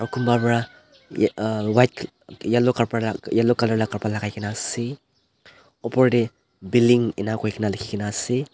kunba pa tae auhh white yellow khapra yellow colour la kapra lakai kaena ase opor tae billing enika koina likhinaase.